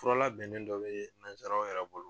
Fura labɛnnen dɔ bɛ nanzaraw yɛrɛ bolo